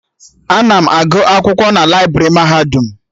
Ana m agụ akwụkwọ na laibrị mahadum